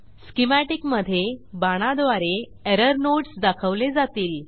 schematic मधे बाणाद्वारे error nodes दाखवले जातील